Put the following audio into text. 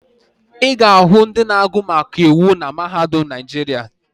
Ị ga-ahụ ndị na-agụ maka iwu na mahadum Naịjirịa